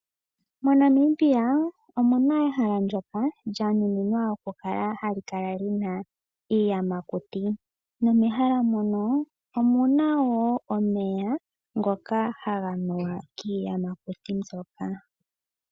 MoNamibia omuna ehala ndjoka lya nuninwa okukala lina iiyamakuti Nomehala mono omuna woo omeya ngoka haga nuwa kiiyamakuti mbyoka.